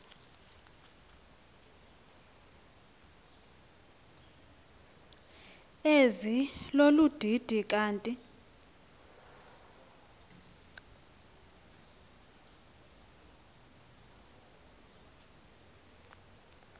ezilolu didi kanti